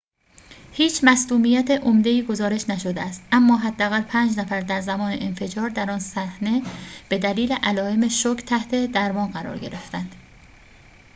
هیچ مصدومیت عمده ای گزارش نشده است اما حداقل پنج نفر در زمان انفجار در آن صحنه به دلیل علائم شوک تحت درمان قرار گرفتند